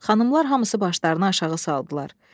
Xanımlar hamısı başlarını aşağı saldılar.